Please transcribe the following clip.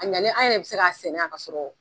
A ɲalen an yɛrɛ bɛ se k'a sɛnɛ yan kasɔrɔ